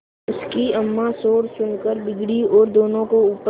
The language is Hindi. उनकी अम्मां शोर सुनकर बिगड़ी और दोनों को ऊपर